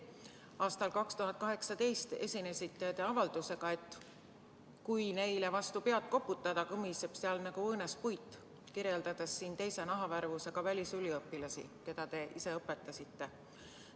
Aastal 2018 esinesite te avaldusega, et kui neile vastu pead koputada, kõmiseb seal nagu õõnespuit – te kirjeldasite nii teise nahavärvusega välisüliõpilasi, keda te ise õpetasite.